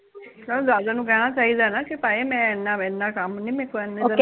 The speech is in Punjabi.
ਕਿਉ ਦਾਦੇ ਨੂ ਕਹਿਨਾ ਚਾਹੀਦਾ ਐ ਨਾ ਕਿ ਭਾਈ ਮੈਂ ਐਨਾ ਕੰਮ ਨੀ ਮੇਰੇ ਕੋ